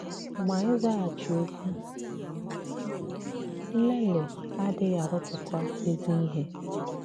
Ma ịzàghàchì òkwù nlèlì adìghị àrụ̀pụ̀tà èzì ìhè.